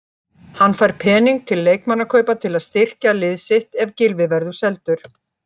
Hann fær pening til leikmannakaupa til að styrkja lið sitt ef Gylfi verður seldur.